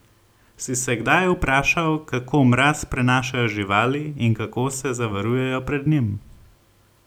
Si se kdaj vprašal, kako mraz prenašajo živali in kako se zavarujejo pred njim?